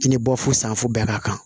I ni bɔfu sanfun bɛɛ ka kan